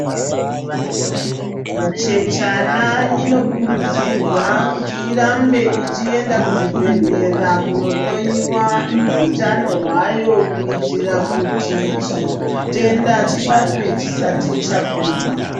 Muchechana inokurudzirwa kuti irambe uchienda kuzvibhendlera kunohloiwa utano hwayo kuitira kuti chitenda chibatwe chisati chakura.